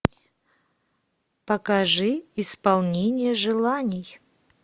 покажи исполнение желаний